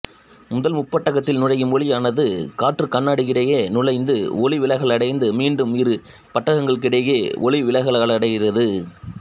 முதல் முப்பட்டகத்தில் நுழையும் ஒளியானது காற்றுகண்ணாடியிடையே நுழைந்து ஒளிவிலகலடைந்து மீண்டும் இரு பட்டகங்களுக்கிடையே ஒளிவிலகலடைகிறது